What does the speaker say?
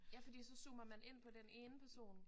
Ja fordi så zoomer man ind på den ene person